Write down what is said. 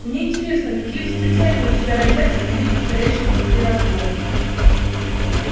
мне интересно какие восклицания у тебя родятся при виде царящего внутри разгрома